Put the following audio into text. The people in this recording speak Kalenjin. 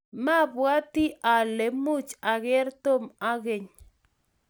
mabwatii ale much ager Tom ageny.